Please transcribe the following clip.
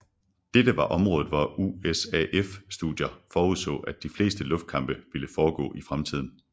Dette var området hvor USAF studier forudså at de fleste luftkampe ville foregå i fremtiden